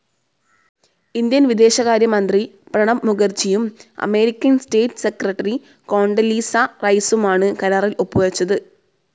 Indian വിദേശകാര്യമന്ത്രി പ്രണബ് മുഖർജിയും American state secretary Condoleezza റൈസുമാണ് കരാറിൽ ഒപ്പുവെച്ചത്.